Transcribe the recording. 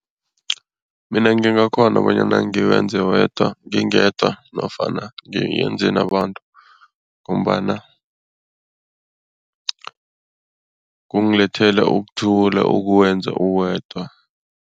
Mina ngingakghona bonyana ngiwenze wedwa ngingedwa nofana ngiyenze nabantu ngombana kungilethela ukuthula ukuwenza uwedwa.